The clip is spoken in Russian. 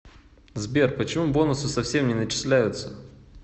сбер почему бонусы совсем не начисляются